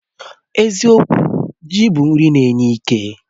Eziokwu, ji bụ nri na-enye ike